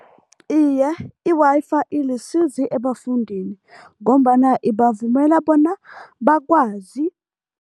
Iye, i-Wi-Fi ilisizi ebafundini ngombana ibavumela bona bakwazi.